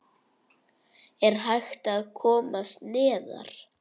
Er hægt að komast neðar?